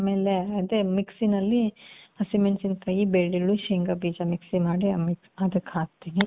ಆಮೇಲೆ, ಅದೆ ?????? ನಲ್ಲಿ ಹಸಿಮೆಣಸಿನಕಾಯಿ, ಬೆಳ್ಳುಳ್ಳಿ, ಶೇಂಗ ಬೀಜ ?????? ಮಾಡಿ ಅದಕ್ ಹಾಕ್ತೀವಿ.